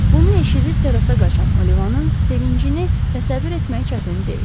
Bunu eşidib terrasa qaçan Olivanın sevincini təsəvvür etmək çətin deyil.